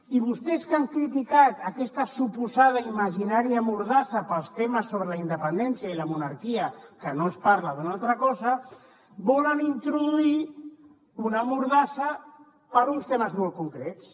i vostès que han criticat aquesta suposada imaginària mordassa per als temes sobre la independència i la monarquia que no es parla d’una altra cosa volen introduir una mordassa per a uns temes molt concrets